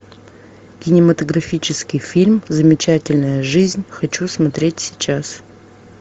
кинематографический фильм замечательная жизнь хочу смотреть сейчас